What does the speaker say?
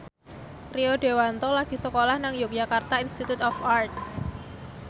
Rio Dewanto lagi sekolah nang Yogyakarta Institute of Art